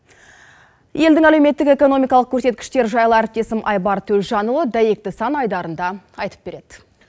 елдің әлеуметтік экономикалық көрсеткіштері жайлы әріптесім айбар төлжанұлы дәйекті сан айдарында айтып береді